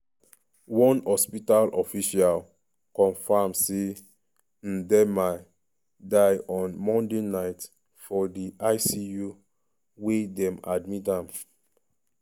one hospital official confam say ndiema die on monday night for di icu wia dem admit am.